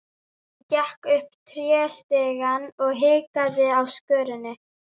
Hún gekk upp tréstigann og hikaði á skörinni.